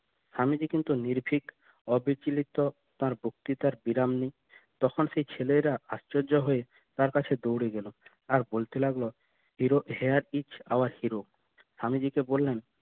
স্বামীজী কিন্তু নির্ভীক অবিচলিত তার বক্তৃতার বিরাম নেই তখন সে ছেলেরা আশ্চর্য হয়ে তার কাছে দৌড়ে গেল আর বলতে লাগলো hero here is our hero Swamiji কে বললেন